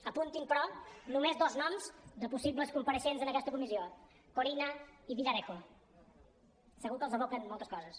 apuntin però només dos noms de possibles compareixents en aquesta comissió corinna i villarejo segur que els evoquen moltes coses